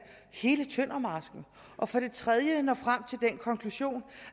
hele tøndermarsken og for det tredje at man når frem til den konklusion